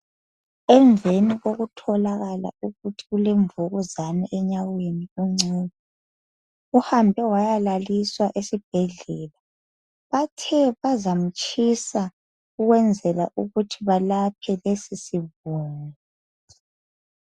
Emveni kokutholakala ukuthi ulemvukuzane enyaweni, uNcube.. Uhambe wayalaliswa esibhedlela. Bathe bazamtshisa ukwenzela ukuthi balaphe lesisibungu.